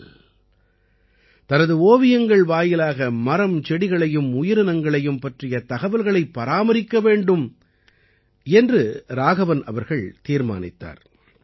ஆனால் தனது ஓவியங்கள் வாயிலாக மரம் செடிகளையும் உயிரினங்களையும் பற்றிய தகவல்களைப் பராமரிக்க வேண்டும் என்று ராகவன் அவர்கள் தீர்மானித்தார்